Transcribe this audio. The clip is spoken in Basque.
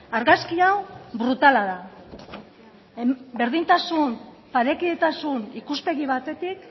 argazki hau brutala da berdintasun parekidetasun ikuspegi batetik